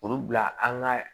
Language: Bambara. Olu bila an ka